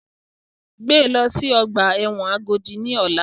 Gbé lọ sí ọgbà ẹ̀wọ̀n Agodi ní ọ̀la!